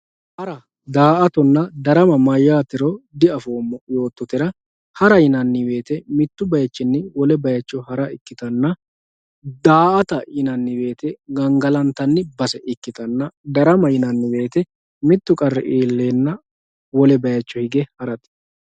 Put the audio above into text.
Hara daatona darama ya mayatero diafimo yototera yana yano woyite mittu bayichi wole bayicho hara ikitana daata yinanni woyite gangalantanni base ikitana darama yinanni woyite mittu qarri ilenna wolle bayicho hige harate